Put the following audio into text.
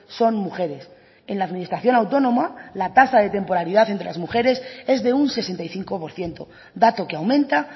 son mujeres en la administración autónoma la tasa de temporalidad entre las mujeres es de un sesenta y cinco por ciento dato que aumenta